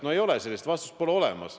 No ei ole sellist vastust, seda pole olemas.